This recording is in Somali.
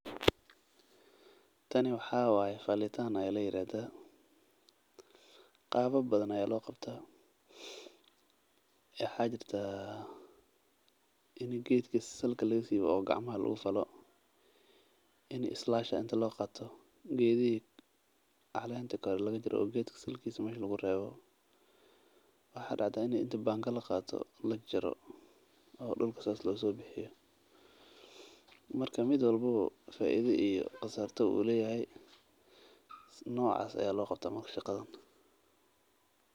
Tani waxaa waye falitaan ayaa ladahaa qaba badan ayaa loo qabtaa waxaa jirta in geedaha hoos laga soo siibo waxaa jirta in banga laqaato hoos laga falo noocaas ayaa loo qabtaa shaqadan.